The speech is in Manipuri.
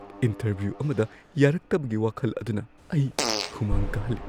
ꯏꯟꯇꯔꯚ꯭ꯌꯨ ꯑꯃꯗ ꯌꯥꯔꯛꯇꯕꯒꯤ ꯋꯥꯈꯜ ꯑꯗꯨꯅ ꯑꯩ ꯍꯨꯃꯥꯡ ꯀꯥꯍꯜꯂꯤ꯫